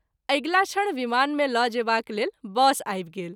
अगिला क्षण विमान मे ल’ जेबा लेल बस आबि गेल।